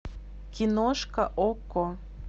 киношка окко